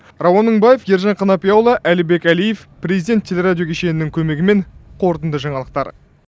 рауан мыңбаев ержан қанапияұлы әлібек әлиев президент телерадио кешенінің көмегімен қорытынды жаңалықтар